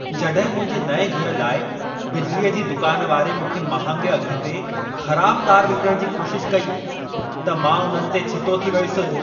जॾहिं मुंहिंजे नएं घर लाइ बिजलीअ जे दुकान वारे मूंखे महांगे अघ ते ख़राब तार विकणण जी कोशिशि कई, त मां उन्हनि ते छितो थी वयुसि।